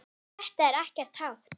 Þetta er ekkert hátt.